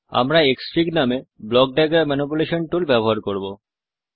আমি ক্সফিগ নামে block diagram manipulation tool ব্যবহার করব